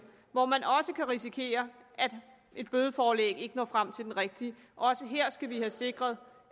hvor man også kan risikere at et bødeforelæg ikke når frem til den rigtige også her skal vi have sikret